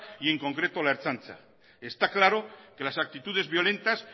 y en concreto la ertzaintza está claro que las actitudes violentas